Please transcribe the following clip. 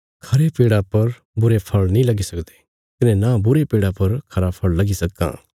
खरे पेड़ा पर बुरे फल़ नीं लगी सकदे कने नां बुरे पेड़ा पर खरा फल़ लगी सक्कां